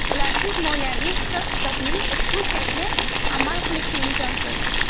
Ularsiz moliyaviy hisob-kitobning ushbu shakli amal qilishi imkonsiz.